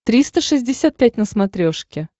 триста шестьдесят пять на смотрешке